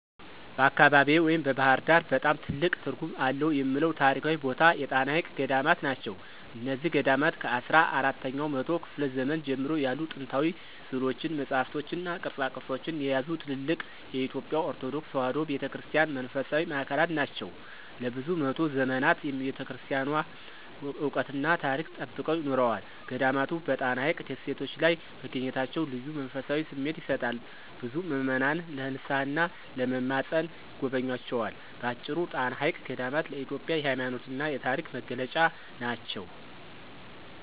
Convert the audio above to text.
በአካባቢዬ (ባሕር ዳር) በጣም ትልቅ ትርጉም አለው የምለው ታሪካዊ ቦታ የጣና ሐይቅ ገዳማት ናቸው። እነዚህ ገዳማት ከአስራ አራተኛው መቶ ክፍለ ዘመን ጀምሮ ያሉ ጥንታዊ ሥዕሎችን፣ መጻሕፍትንና ቅርሶችን የያዙ ትልልቅ የኢትዮጵያ ኦርቶዶክስ ተዋሕዶ ቤተ ክርስቲያን መንፈሳዊ ማዕከላት ናቸው። ለብዙ መቶ ዘመናት የቤተክርስቲያኗን ዕውቀትና ታሪክ ጠብቀው ኖረዋል። ገዳማቱ በጣና ሐይቅ ደሴቶች ላይ መገኘታቸው ልዩ መንፈሳዊ ስሜት ይሰጣል፤ ብዙ ምዕመናን ለንስሓና ለመማፀን ይጎበኟቸዋል። በአጭሩ፣ ጣና ሐይቅ ገዳማት ለኢትዮጵያ የሃይማኖትና የታሪክ መገለጫ ናቸው።